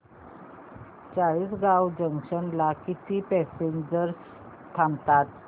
Chalisgaon junction ला किती passengers थांबतात